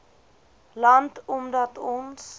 land omdat ons